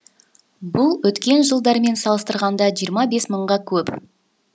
бұл өткен жылдармен салыстырғанда жиырма бес мыңға көп